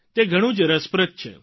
તે ઘણું જ રસપ્રદ છે